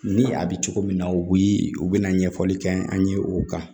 Ni a bɛ cogo min na u bɛ u bɛna ɲɛfɔli kɛ an ye o kan